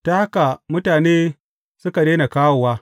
Ta haka mutane suka daina kawowa.